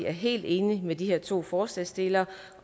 er helt enig med de her to forslagsstillere